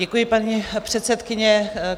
Děkuji, paní předsedkyně.